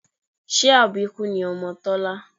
Ṣé àbíkú ni ọmọ Tọ́lá?